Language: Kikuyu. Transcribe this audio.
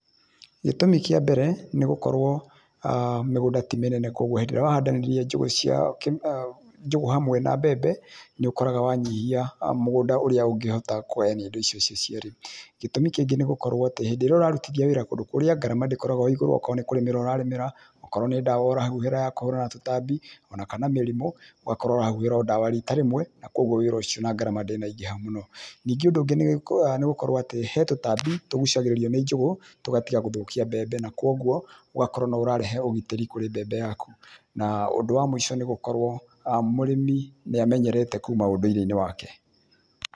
Gĩtũmi kĩa mbere, nĩ gũkorwo mĩgũnda ti mĩnene, koguo hĩndĩ ĩrĩa wahandanĩria njũgũ cia, njũgũ hamwe na mbembe, nĩũkoraga wanyihia mũgũnda ũrĩa ũngĩhota kũgayania indo icio ciĩ cierĩ. Gĩtũmĩ kĩngĩ nĩ gũkorwo atĩ, hĩndĩ ĩrĩa ũrarutithia wĩra kũndũ kũrĩa, ngarama ndĩkoragwo ĩ igũrũ, okorwo nĩ kũrĩmĩra ũrarĩmĩra, okorwo nĩ dawa ũrahuhĩra ya kũhũrana na tũtambi, o na kana mĩrimũ, ũgakorwo ũrahuhĩra o dawa rita rĩmwe na koguo wĩra ũcio na ngarama ndĩnaingĩha mũno. Ningĩ ũndũ ũngĩ nĩ atĩ, he tũtambi tũgucagĩrĩrio nĩ njũgũ, tũgatiga gũthũkia mbembe na koguo ũgakorwo no ũrarehe ũgitĩri harĩ mbembe yaku, na ũndũ wa mũico nĩ atĩ mũrĩmĩ nĩ amenyerete kuma ũndũire wake.